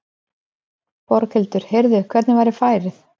Berghildur: Heyrðu, hvernig var færið?